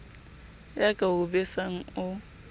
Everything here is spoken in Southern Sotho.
ya ka o besang o